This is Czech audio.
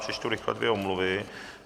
Přečtu rychle dvě omluvy.